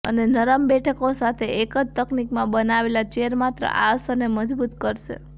અને નરમ બેઠકો સાથે એક જ તકનીકમાં બનાવેલ ચેર માત્ર આ અસરને મજબૂત કરશે